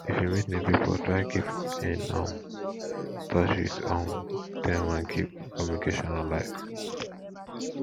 if you meet new pipo try keep in um touch with um dem and keep communication alive